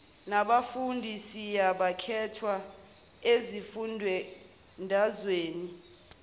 nabafundi siyakhethwa ezifundazweni